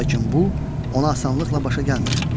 Lakin bu ona asanlıqla başa gəlmir.